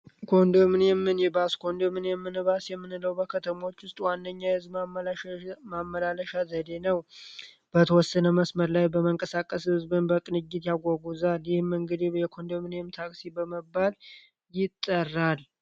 ኮንዶምኒየምን ባስ ኮንዶምን የምን ባስ የምንለው በከተሞች ውስጥ ዋነኛ የህዝም ማመላለሻ ዘዴ ነው በተወሰነ መስመር ላይ በመንቀሳቀስ ሕዝብን በቅንጅት ያጓጉ ዛር ይህም እንግድብ የኮንዶምኒየም ታክሲ በመባል ይጠራል።